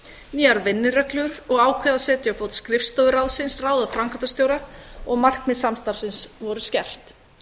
nýjar vinnureglur og ákveðið að setja á fót skrifstofu ráðsins ráða framkvæmdastjóra og markmið samstarfsins voru skerpt